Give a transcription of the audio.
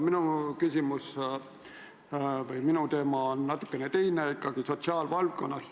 Minu küsimuse teema on natukene teine, ikkagi sotsiaalvaldkonnast.